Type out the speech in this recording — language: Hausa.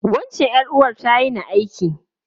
Wancan ’yar’uwar ta yini aiki.